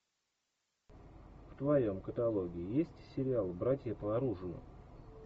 в твоем каталоге есть сериал братья по оружию